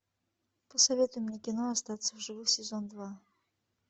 посоветуй мне кино остаться в живых сезон два